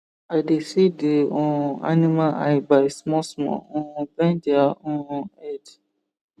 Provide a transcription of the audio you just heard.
i dey see the um animal eye by small small um bend their um head